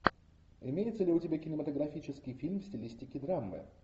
имеется ли у тебя кинематографический фильм в стилистике драмы